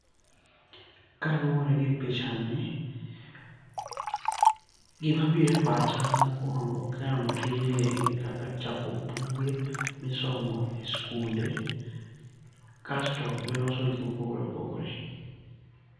Kaluwore gi pichani, gimabiro e pacha mokuongo' ka aneno tijni gin kaka chapo buge misomo e skunde, kasto gi loso gik ma opogore opogore.